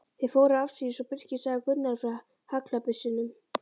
Þeir fóru afsíðis og Birkir sagði Gunnari frá haglabyssunum.